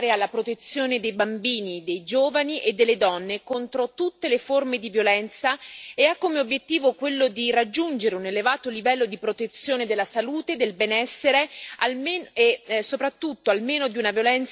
Il programma Daphne destina risorse finanziarie alla protezione dei bambini, dei giovani e delle donne contro tutte le forme di violenza e ha come obiettivo quello di raggiungere un elevato livello di protezione della salute e del benessere.